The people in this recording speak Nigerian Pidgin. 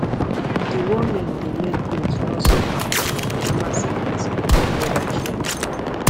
deworming de make goats nor suffer from yamayama sickness wen weather change